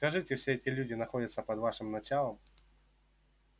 скажите все эти люди находятся под вашим началом